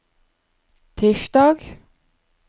tirsdag